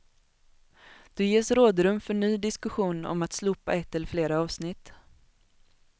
Då ges rådrum för ny diskussion om att slopa ett eller flera avsnitt.